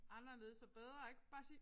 Anderledes og bedre ik bare sige